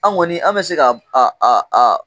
An kɔni an an bɛ se ka a a